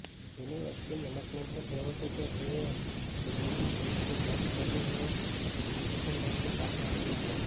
university મેનેજમેન્ટનું કહેવું છે કે એડ્મિશન સંબંધી જેકબની કોઈ એપ્લિકેશન તેમની પાસે આવી નથી